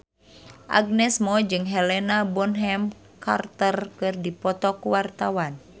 Agnes Mo jeung Helena Bonham Carter keur dipoto ku wartawan